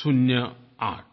शून्य आठ